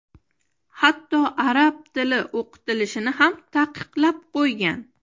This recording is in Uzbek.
hatto arab tili o‘qitilishini ham taqiqlab qo‘ygan.